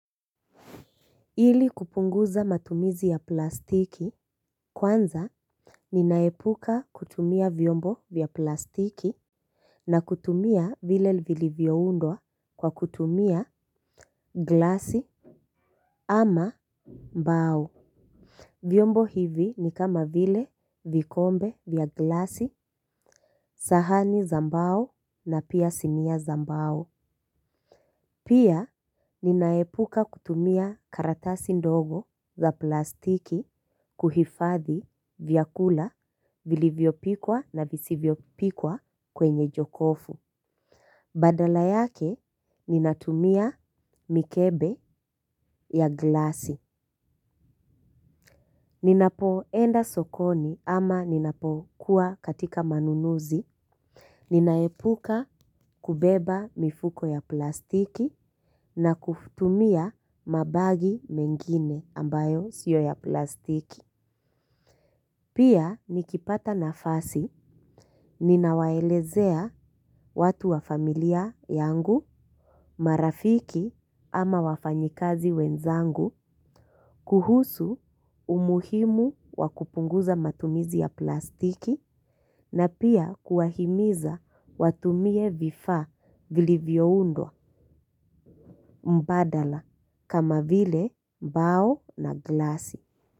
Ili kupunguza matumizi ya plastiki, kwanza ninaepuka kutumia vyombo vya plastiki na kutumia vile vilivyoundwa kwa kutumia glasi ama mbao. Vyombo hivi ni kama vile vikombe vya glasi sahani za mbao na pia sinia za mbao. Pia, ninaepuka kutumia karatasi ndogo za plastiki kuhifadhi vyakula vilivyopikwa na visivyopikwa kwenye jokofu. Badala yake ninatumia mikebe ya glasi. Ninapoenda sokoni ama ninapokuwa katika manunuzi. Ninaepuka kubeba mifuko ya plastiki na kutumia mabagi mengine ambayo sio ya plastiki. Pia nikipata nafasi ninawaelezea watu wa familia yangu marafiki ama wafanyikazi wenzangu kuhusu umuhimu wa kupunguza matumizi ya plastiki na pia kuwahimiza watumie vifaa vilivyoundwa mbadala kama vile mbao na glasi.